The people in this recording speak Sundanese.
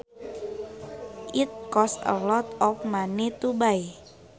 It costs a lot of money to buy